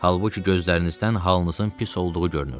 Halbuki gözlərinizdən halınızın pis olduğu görünürdü.